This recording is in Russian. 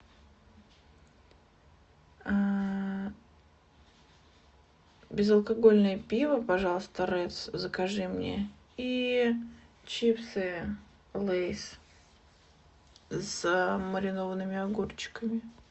безалкогольное пиво пожалуйста редс закажи мне и чипсы лейс с маринованными огурчиками